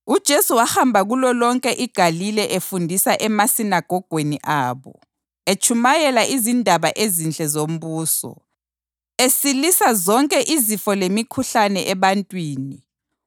UJesu wahamba kulolonke iGalile efundisa emasinagogweni abo, etshumayela izindaba ezinhle zombuso, esilisa zonke izifo lemikhuhlane ebantwini.